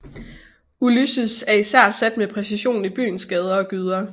Ulysses er især sat med præcision i byens gader og gyder